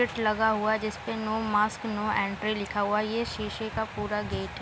Chit लगा हुआ है। जिसपे नो मास्क नो इंट्री लिखा हुआ है। ये शीशे का पूरा गेट है।